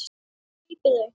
Grípið þau!